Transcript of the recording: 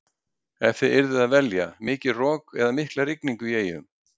Ef þið yrðuð að velja, mikið rok eða mikla rigningu í eyjum?